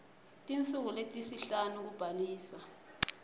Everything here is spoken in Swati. tinsuku letisihlanu kubhalisa